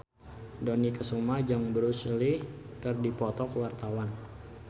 Dony Kesuma jeung Bruce Lee keur dipoto ku wartawan